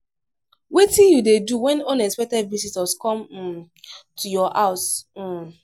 wetin you dey do when unexpected visitors come um to your house? um